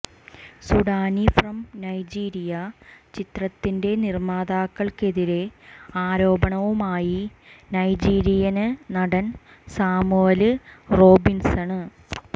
Sudani from Nigeria ചിത്രത്തിന്റെ നിര്മാതാക്കള്ക്കെതിരെ ആരോപണവുമായി് നൈജീരിയന് നടന് സാമുവല് റോബിന്സണ്